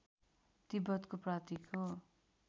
तिब्बतको प्रतीक हो